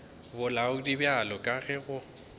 bolaodi bjalo ka ge go